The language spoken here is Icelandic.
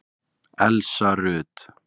Elsa Rut.